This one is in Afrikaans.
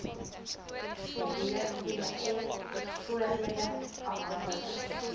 wvf voordele afhanklik